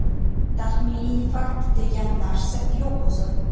Taxminiy fakt degan narsa yo‘q o‘zi).